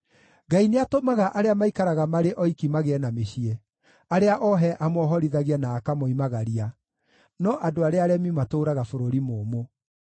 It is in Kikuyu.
Ngai nĩatũmaga arĩa maikaraga marĩ oiki magĩe na mĩciĩ, arĩa ohe amohorithagia na akamoimagaria; no andũ arĩa aremi matũũraga bũrũri mũũmũ.